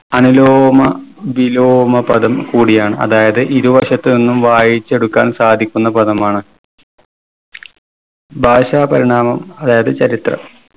അനുലോമ വിലോമ പദം കൂടിയാണ്. അതായത് ഇരുവശത്തുനിന്നും വായിച്ചെടുക്കാൻ സാധിക്കുന്ന പദമാണ് ഭാഷാപരിണാമം അതായത് ചരിത്രം